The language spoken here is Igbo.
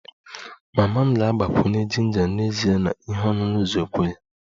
Mama m ga-agbakwunye jinja n'ezie na ihe ọṅụṅụ zobo ya